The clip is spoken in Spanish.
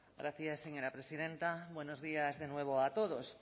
gracias señora presidenta buenos días de nuevo a todos